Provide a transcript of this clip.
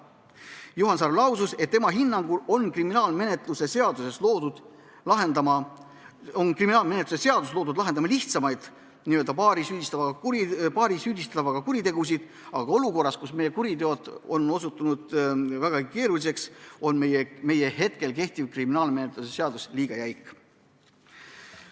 Juhan Sarve hinnangul on kriminaalmenetluse seadustik loodud lahendama lihtsamaid, n-ö paari süüdistatava kuritegusid, aga olukorras, kus kuriteod on osutunud väga keeruliseks, on kehtiv kriminaalmenetluse seadustik liiga jäik.